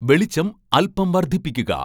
വെളിച്ചം അല്പം വർദ്ധിപ്പിക്കുക